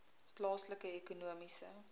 plaaslike ekonomiese